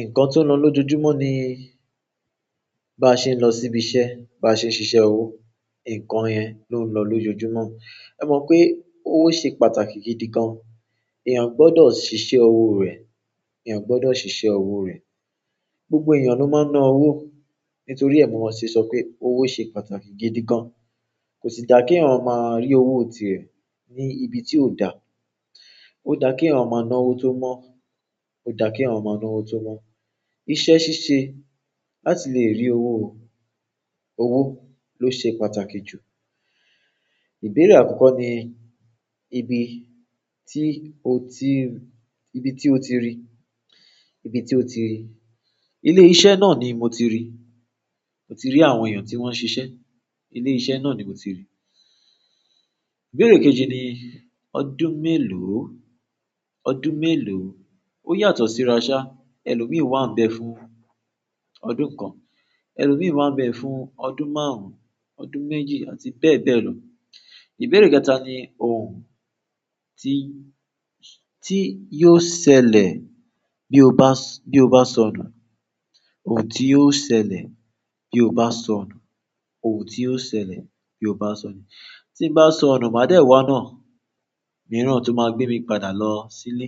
Ǹkan tí ó ń lọ lójoojúmọ́ ni bá, ṣe ń lọ síbi iṣẹ́, bá ṣe ń ṣiṣẹ́ owó, ǹkan yẹn ló ń lọ lójoojúmọ́. Ẹ mọ̀ pé owó ṣe pàtàkì gidi gan. Èèyàn gbódọ̀ ṣiṣẹ́ owó rẹ̀. Èèyàn gbódọ̀ ṣiṣẹ́ owó rẹ̀. Gbogbo èèyàn ló máa ń ná owó nítorí ẹ̀ ni mo se sọ pé owó ṣe pàtàkì gidi gan. Kò sì da kí ma rí owó ti è ní ibi tí ò dáa. Ó da kí ẹ̀yàn máa ná owó tó mọ́. Ó dà kí ẹ̀yàn máa ná owó tó mọ́. Iṣẹ́ ṣíṣe láti lè rí owó, owó ló ṣe pàtàkì jù. Ìbéèrè àkọ́kọ́ ni ibi tí o ti, ibi tí o ti rí. Ibi tí o ti rí. Ilé iṣẹ́ náà ni mo ti rí. Mo ti rí àwọn èèyàn tí wọ́n ń ṣiṣẹ́. Ilé iṣẹ́ náà ni mo ti rí. Ìbéèrè kejì ni ọdún mélòó? Ọdún mélòó? Ó yàtọ̀ sí ra sá elòmíì wà bè fún ọdún kan, ẹ̀lòmíì wà bẹ fún ọdún márùn-ún, ọdún méjì àti bẹ́ẹ̀ bẹ́ẹ̀ lọ. Ìbéèrè kẹta ni ohun tí, tí yóò ṣẹlẹ̀ bí o bá, bí o bá sọnù. Ohun tí yóò ṣẹlẹ̀ bí o bá sọnù. Ohun tí yóò ṣẹlẹ̀ bí o bá sọnù. Tí bá sọnù, mà dẹ̀ wá onáà míràn tó máa gbé mi padà lọ sí ílé.